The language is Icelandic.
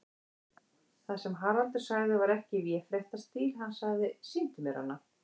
Það sem Haraldur sagði var ekki í véfréttarstíl, hann sagði: Sýndu mér hana.